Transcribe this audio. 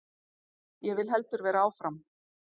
Ég vil heldur vera áfram.